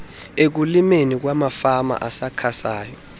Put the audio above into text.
ekulimeni kwamafama asakhasayo